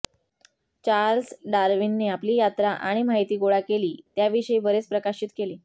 Charles डार्विनने आपली यात्रा आणि माहिती गोळा केली त्याविषयी बरेच प्रकाशित केले